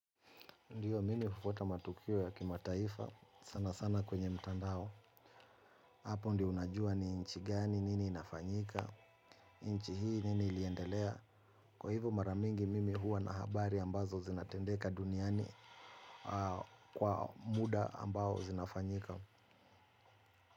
Ndiyo mimi hufuata matukio ya kimataifa sana sana kwenye mtandao. Hapo ndio unajua ni nchi gani nini inafanyika, nchi hii nini iliendelea. Kwa hivo mara mingi mimi huwa na habari ambazo zinatendeka duniani kwa muda ambao zinafanyika.